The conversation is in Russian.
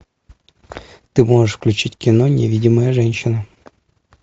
ты можешь включить кино невидимая женщина